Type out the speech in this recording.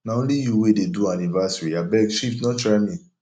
na only you wey dey do anniversary abeg shift no try me